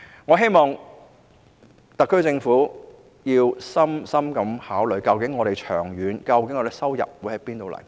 我希望特區政府會深切考慮，長遠而言我們的收入會從何而來。